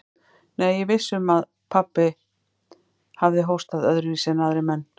Nei, ég er viss um að pabbi hefur hóstað öðruvísi en aðrir menn.